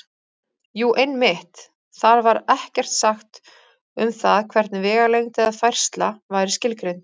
Jú, einmitt: Þar var ekkert sagt um það hvernig vegalengd eða færsla væri skilgreind!